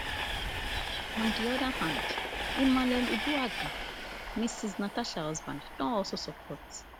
on di oda hand emmanuel uduaghan mrs natasha husband don alsosupport